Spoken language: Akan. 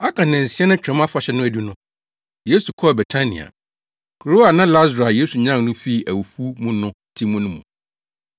Aka nnansia na Twam Afahyɛ no adu no, Yesu kɔɔ Betania, kurow a na Lasaro a Yesu nyan no fii awufo mu no te mu no mu.